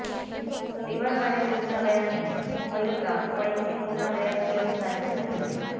D Y Patil रुग्णालयाने मयूरला YCM रुग्णालयात घेऊन जाण्यास सांगितले